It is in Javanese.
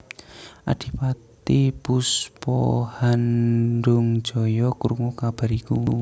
Adipati Puspahandungjaya krungu kabar iku